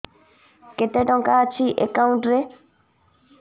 କେତେ ଟଙ୍କା ଅଛି ଏକାଉଣ୍ଟ୍ ରେ